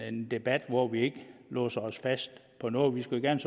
en debat hvor vi ikke låser os fast på noget det skulle gerne